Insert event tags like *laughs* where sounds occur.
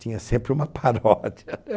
Tinha sempre uma *laughs* paródia.